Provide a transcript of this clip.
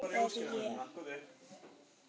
En það er ég.